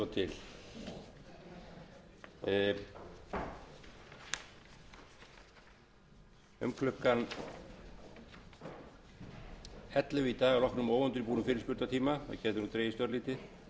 um klukkan ellefu í dag að loknum óundirbúnum fyrirspurnatíma það gæti dregist örlítið fer fram umræða utan dagskrár um